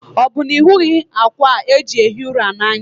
Ọ́ bụ na ịhughị ákwà eji ehi ụra a n'anya?